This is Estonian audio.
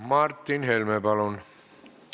Martin Helme, palun!